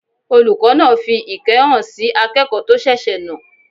Olùkọ́ náà fi ìkẹ́ hàn sí akẹ́kọ̀ọ́ tó ṣèṣe náà